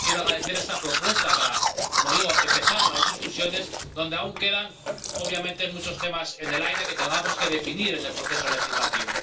Quiero agradecer esta propuesta para —como digo— empezar las discusiones, en la que aún quedan, obviamente, muchos temas en el aire que tenemos que definir en el proceso legislativo.